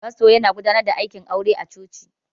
Fasto yana godanar da aikin aure a cuci